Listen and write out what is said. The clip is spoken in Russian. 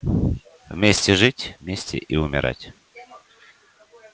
вместе жить вместе и умирать